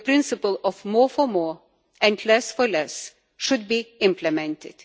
The principle of more for more and less for less' should be implemented.